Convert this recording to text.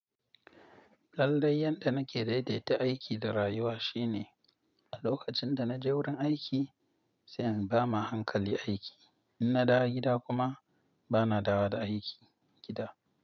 Lallai yanda nake daidaita aiki da rayuwa shine a lokacin da naje wurin aiki, sai in bama hankali aiki. In na dawo gida kuma bana dawowa da aiki gida.